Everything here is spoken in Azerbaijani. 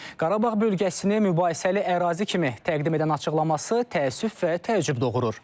Qarabağ bölgəsini mübahisəli ərazi kimi təqdim edən açıqlaması təəssüf və təəccüb doğurur.